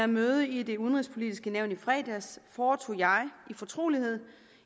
møde i det udenrigspolitiske nævn i fredags foretog jeg i fortrolighed